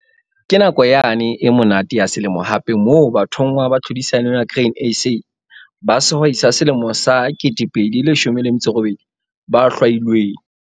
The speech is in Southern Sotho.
Ke nako yane e monate ya selemo hape moo bathonngwa ba tlhodisano ya Grain SA ba Sehwai sa Selemo sa 2018 ba hlwailweng.